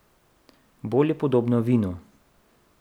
Bolj je podobno vinu.